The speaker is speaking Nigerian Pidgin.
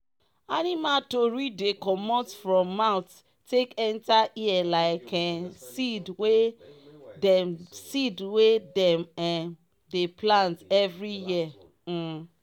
animal tori dey commot from mouth take enta ear like um seed wey dem seed wey dem um dey plant evri year um